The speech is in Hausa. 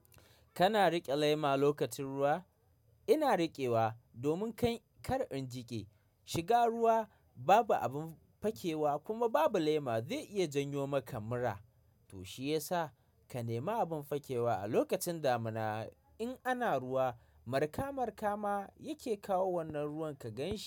Kana riƙe lema lokacin ruwa? Ina riƙewa domin kai kar in jiƙe. Shiga ruwa babu abin fakewa kuma babu lema zai iya janyo maka mura. To shiyasa ka nema abin fakewa a lokacin damina. In ana ruwa, marka marka ma yake kawo wannan ruwan ka ganshi.